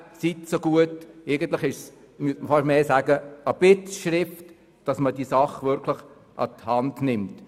Dies ist eigentlich mehr eine Bittschrift, die Sache wirklich an die Hand zu nehmen.